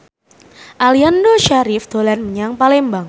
Aliando Syarif dolan menyang Palembang